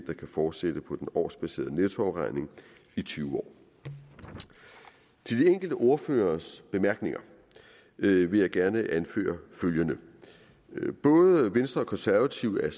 fortsætte på den årsbaserede nettoafregning i tyve år til de enkelte ordføreres bemærkninger vil jeg gerne anføre følgende både venstre og konservative er